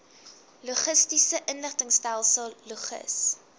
logistiese inligtingstelsel logis